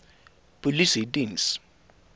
polisiediens